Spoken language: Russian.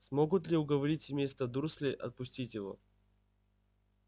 смогут ли уговорить семейство дурслей отпустить его